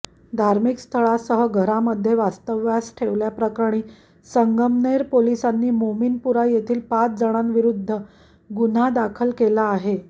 धार्मिक स्थळासह घरामध्ये वास्तव्यास ठेवल्याप्रकरणी संगमनेर पोलिसांनी मोमीनपुरा येथील पाच जणांविरोधात गुन्हा दाखल केला आहे